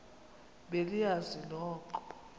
be niyazi nonk